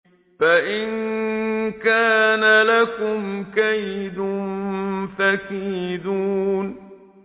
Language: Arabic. فَإِن كَانَ لَكُمْ كَيْدٌ فَكِيدُونِ